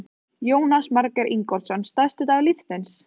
Jónas Margeir Ingólfsson: Stærsti dagur lífs þíns?